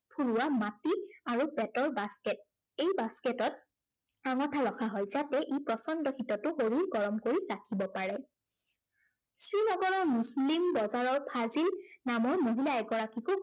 ফুৰা মাটি আৰু বেঁতৰ basket । এই basket ত আঙঠা ৰখা হয়। যাতে ইপ্ৰচণ্ড শীততো শৰীৰ গৰম কৰি ৰাখিব পাৰে। শ্ৰীনগৰৰ মুছলিম বজাৰত ফাইজিল নামৰ মহিলা এগৰাকীকো